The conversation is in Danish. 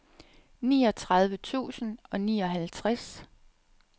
niogtredive tusind og nioghalvtreds